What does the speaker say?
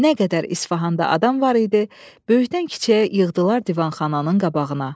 Nə qədər İsfahanda adam var idi, böyükdən-kiçiyə yığdılar divanxananın qabağına.